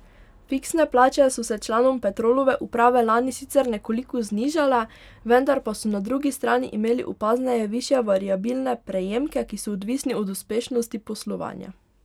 Fiksne plače so se članom Petrolove uprave lani sicer nekoliko znižale, vendar pa so na drugi strani imeli opazneje višje variabilne prejemke, ki so odvisni od uspešnosti poslovanja.